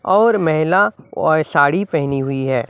और महिला औय साड़ी पहनी हुई है।